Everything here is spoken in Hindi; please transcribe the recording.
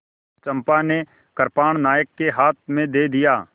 चंपा ने कृपाण नायक के हाथ में दे दिया